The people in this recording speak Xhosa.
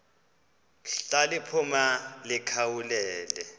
ndla liphuma likhawulele